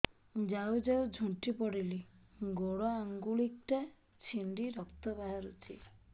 ଯାଉ ଯାଉ ଝୁଣ୍ଟି ପଡ଼ିଲି ଗୋଡ଼ ଆଂଗୁଳିଟା ଛିଣ୍ଡି ରକ୍ତ ବାହାରୁଚି